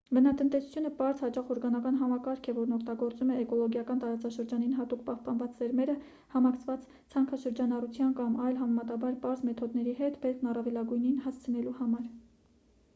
բնատնտեսությունը պարզ հաճախ օրգանական համակարգ է որն օգտագործում է էկոլոգիական տարածաշրջանին հատուկ պահպանված սերմերը համակցված ցանքաշրջանառության կամ այլ համեմատաբար պարզ մեթոդների հետ բերքն առավելագույնի հասցնելու համար